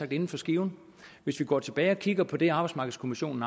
inden for skiven hvis vi går tilbage og kigger på det arbejdsmarkedskommissionen